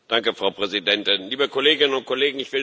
Frau Präsidentin, liebe Kolleginnen und Kollegen!